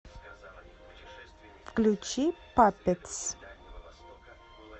включи паппетс